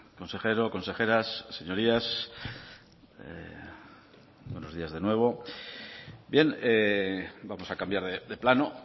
consejero consejeras señorías buenos días de nuevo bien vamos a cambiar de plano